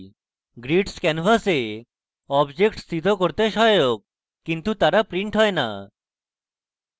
grids canvas objects স্থিত করতে সহায়ক কিন্তু তারা printed হয় না